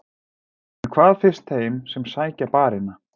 En hvað finnst þeim sem sækja barina?